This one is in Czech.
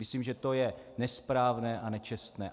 Myslím, že to je nesprávné a nečestné.